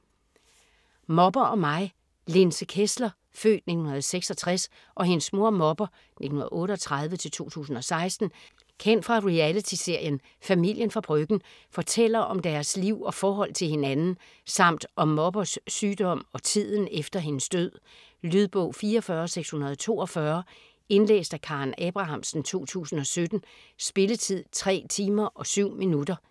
Mopper & mig Linse Kessler (f. 1966) og hendes mor, Mopper (1938-2016), kendt fra reality-serien "Familien fra Bryggen", fortæller om deres liv og forhold til hinanden, samt om Moppers sygdom og tiden efter hendes død. Lydbog 44642 Indlæst af Karen Abrahamsen, 2017. Spilletid: 3 timer, 7 minutter.